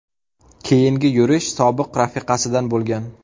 Keyingi yurish sobiq rafiqasidan bo‘lgan.